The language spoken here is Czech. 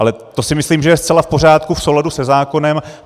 Ale to si myslím, že je zcela v pořádku, v souladu se zákonem.